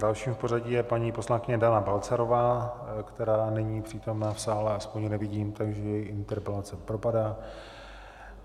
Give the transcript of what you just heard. Dalším v pořadí je paní poslankyně Dana Balcarová, která není přítomna v sále, aspoň ji nevidím, takže její interpelace propadá.